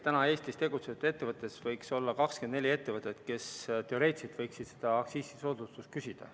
Täna Eestis tegutsevatest ettevõtetest võiks olla 24 niisugust, kes teoreetiliselt võiksid seda aktsiisisoodustust küsida.